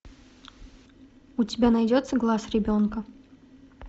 у тебя найдется глаз ребенка